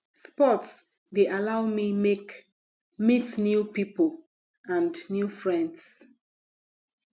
sports de allow me make meet new pipo and new friends